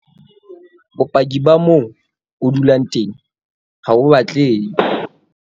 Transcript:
Bopaki ba moo o dulang teng HA BO batlehe.